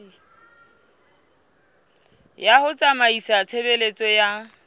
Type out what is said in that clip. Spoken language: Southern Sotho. ya ho tsamaisa tshebeletso ya